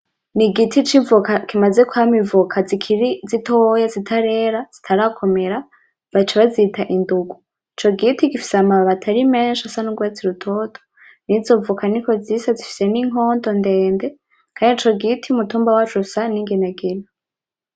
Ni igiti c'ivoka kimaze kwama ivoka zikiri zitoya zitarera zikanakomera baca bazita indugu, ico giti gifise amababi atari menshi asa n'urwatsi rutoto, nizo voka niko zisa zifise n'inkondo ndende kandi ico giti umutumba waco usa n'inginagina.